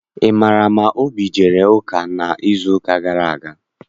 Ị maara ma Obi ejere ụka n'izuụka gara aga?